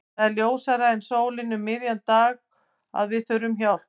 Það er ljósara en sólin um miðjan dag að við þurfum hjálp.